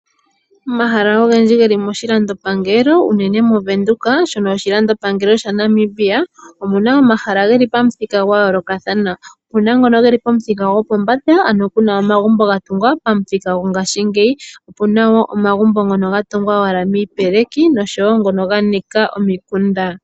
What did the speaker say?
Omahala ogendji geli moshilandopangelo uunene moVenduka shono oshilandopangelo sha Namibia, omuna omahala geli pamuthika gwa yoolokathana. Opuna ngono geli pomuthika gwopombanda ano puna omagumbo ga tungwa pamuthika gwongashiingeyi, opuna wo omagumbo ngono ga tungwa owala miipeleki nosho wo ngono ga nika omikunda.